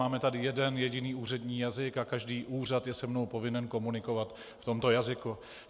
Máme tu jeden jediný úřední jazyk a každý úřad je se mnou povinen komunikovat v tomto jazyce.